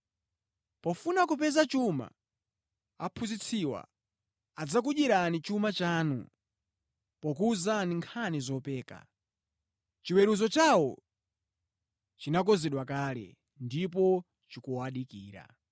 Pofuna kupeza chuma, aphunzitsiwa adzakudyerani chuma chanu pokuwuzani nkhani zopeka. Chiweruzo chawo chinakonzedwa kale, ndipo chikuwadikira.